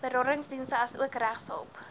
beradingsdienste asook regshulp